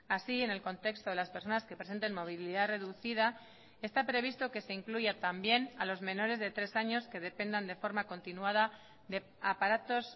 así en el contexto de las personas que presenten movilidad reducida está previsto que se incluya también a los menores de tres años que dependan de forma continuada de aparatos